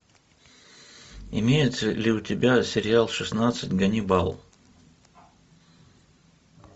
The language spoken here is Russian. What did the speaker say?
имеется ли у тебя сериал шестнадцать ганнибал